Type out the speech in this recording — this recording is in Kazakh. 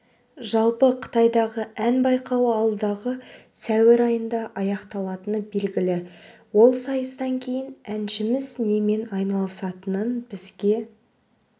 жалпы қытайдағы ән байқауы алдағы сәуір айында аяқталатыны белгілі ол сайыстан кейін әншіміз немен айналысатынын бізге